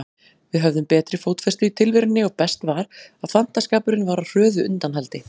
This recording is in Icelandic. Við höfðum betri fótfestu í tilverunni og best var, að fantaskapurinn var á hröðu undanhaldi.